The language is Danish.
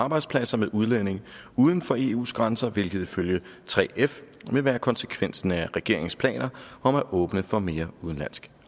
arbejdspladser med udlændinge uden for eu’s grænser hvilket ifølge 3f vil være konsekvensen af regeringens planer om at åbne for mere udenlandsk